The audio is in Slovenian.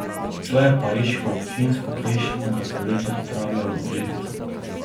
To je pariško občinstvo prejšnjega stoletja spravljalo ob živce.